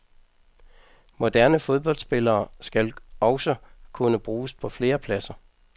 Moderne fodboldspillere skal også kunne bruges på flere pladser.